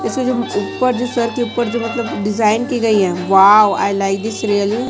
जैसे जो ऊपर जो सर के ऊपर डिजाइन की गई है wow I like this really.